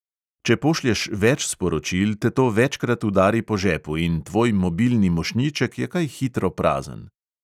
Če pošlješ več sporočil, te to večkrat udari po žepu in tvoj mobilni mošnjiček je kaj hitro prazen.